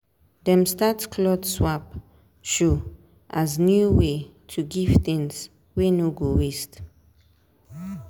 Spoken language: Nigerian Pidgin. dem start cloth swap show as new way to give things wey no go waste.